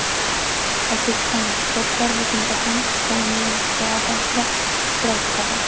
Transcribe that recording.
O‘zbekistonlik sportchilar Butunjahon qishki universiadasida ishtirok etadi.